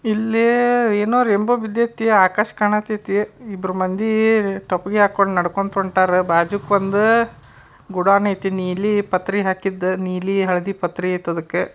ಇಲ್ಲಿ ಏನು ರೈನ್ಬೋ ಬಿದ್ದೈತಿ ಇಲ್ಲಿ ಆಕಾಶ್ ಕಾಣ ತೈತಿ ಇಬ್ರು ಮಂದಿ ಟೊಪ್ಪಿಗೆ ಹಾಕೊಂಡ್ ನಡ್ಕೊಂತ್ ಒನ್ಟಾರ ಬಾಜುಗೆ ಬಂದು ಗುಡಾಣ ಆಯ್ತಿ ನೀಲಿ ಪತ್ರೆ ಹಾಕಿದ್ ನೀಲಿ ಹಳ್ದಿ ಪತ್ರೆ ಆಯ್ತ್ ಅದುಕ್ಕೆ --